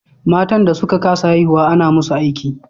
Matan da suka ka sa haihuwa ana musu aiki